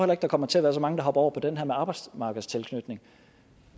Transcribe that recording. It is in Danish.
der kommer til at være så mange der hopper over på den her med arbejdsmarkedstilknytning